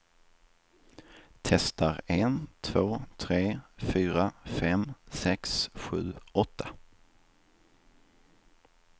Testar en två tre fyra fem sex sju åtta.